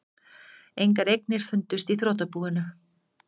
Engar eignir fundust í þrotabúinu